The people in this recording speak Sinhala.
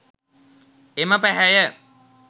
එම පැහැය